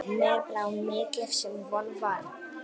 Mér brá mikið sem von var.